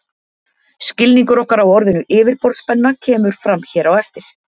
Skilningur okkar á orðinu yfirborðsspenna kemur fram hér á eftir.